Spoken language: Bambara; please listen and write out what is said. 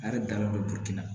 A yɛrɛ dalen bɛ burukina